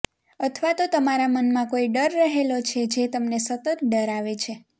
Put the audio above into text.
અથવા તો તમારા મનમાં કોઈ ડર રહેલો છે જે તમને સતત ડરાવે છે